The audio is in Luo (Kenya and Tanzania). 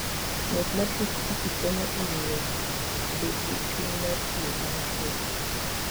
Ng'wech mar pikipiki konyo e miyo ji obed gi chuny mar tiyo kanyachiel.